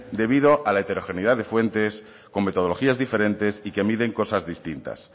debido a la heterogeneidad de fuentes con metodologías diferentes y que miden cosas distintas